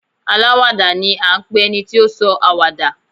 Aláwàdà ni à ń pe ẹni tí ó sọ àwàdà.